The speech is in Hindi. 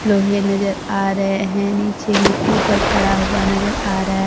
लोहे नजर आ रहे हैं नीचे मिट्टी पर पड़ा हुआ नजर आ रहा --